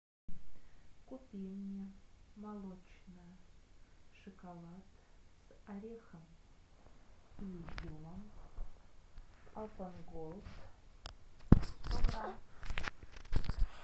купи мне молочный шоколад с орехом и изюмом апан голд сто грамм